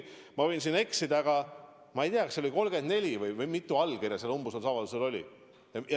Ma võin eksida, ma ei tea, mitu allkirja sellel umbusaldusavaldusel oli, kas see arv oli äkki 34.